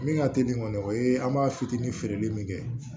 Min ka teli kɔni o ye an b'a fitinin feereli min kɛ